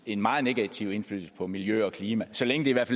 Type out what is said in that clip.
en meget negativ indflydelse på miljø og klima så længe det i hvert